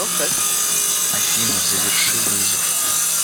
афина заверши вызов